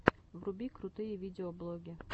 вруби крутые видеоблоги